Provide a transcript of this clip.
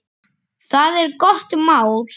Það er gott mál.